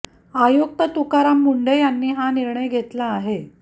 आयुक्त तुकाराम मुंढे यांनी हा निर्णय घेतला आहे